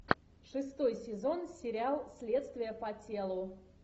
шестой сезон сериал следствие по телу